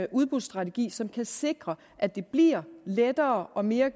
udbudsstrategi som kan sikre at det bliver lettere og mere